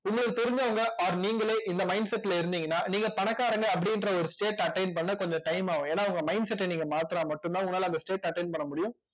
உங்களுக்கு தெரிஞ்சவங்க or நீங்களே இந்த mindset ல இருந்தீங்கன்னா நீங்க பணக்காரங்க அப்படின்ற ஒரு state attain பண்ண கொஞ்சம் time ஆகும் ஏன்னா உங்க mindset அ நீங்க மாத்துனா மட்டும்தான் உங்களால அந்த state attain பண்ண முடியும்